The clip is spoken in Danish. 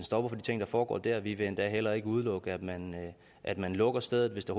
stopper for de ting der foregår der vi vil endda heller ikke udelukke at man at man lukker stedet hvis det